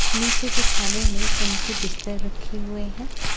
निचे के थाने में उनकी रखे हुए है।